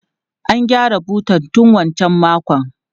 An gyara butan tun wancan makon.